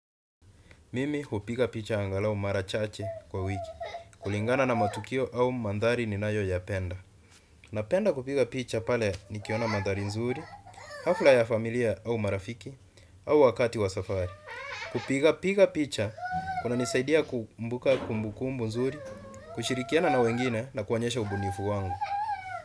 Mimi hupiga picha angalao mara chache kwa wiki, kulingana na matukio au mandhari ninayo ya penda. Napenda kupiga picha pale nikiona mandhari nzuri, hafla ya familia au marafiki, au wakati wa safari. Kupiga picha kuna nisaidia kumbuka kumbukumbu nzuri, kushirikiana na wengine na kuonyesha ubunifu wangu.